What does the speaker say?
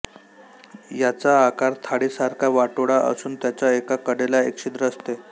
याचा आकार थाळीसारखा वाटोळा असून त्याच्या एका कडेला एक छिद्र असते